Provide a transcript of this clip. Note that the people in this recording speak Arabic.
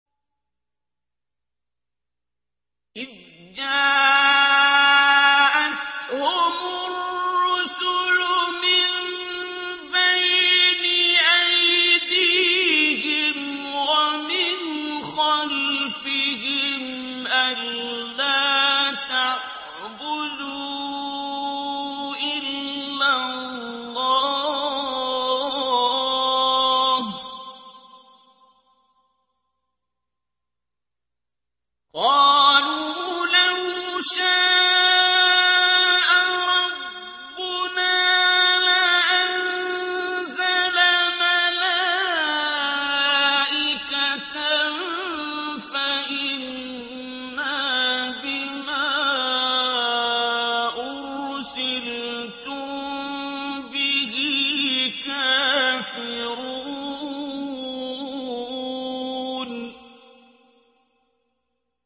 إِذْ جَاءَتْهُمُ الرُّسُلُ مِن بَيْنِ أَيْدِيهِمْ وَمِنْ خَلْفِهِمْ أَلَّا تَعْبُدُوا إِلَّا اللَّهَ ۖ قَالُوا لَوْ شَاءَ رَبُّنَا لَأَنزَلَ مَلَائِكَةً فَإِنَّا بِمَا أُرْسِلْتُم بِهِ كَافِرُونَ